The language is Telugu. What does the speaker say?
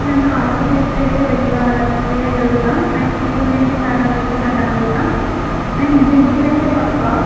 మనకు ఆర్కిటెక్ట్ అయితే వేయాలి వేయగలుగుతాం అండ్ ఇల్లునయితే చాలా నీట్ గా కట్టగలుగుతాం అండ్ ఇంజనీర్ ఐతే పక్కా.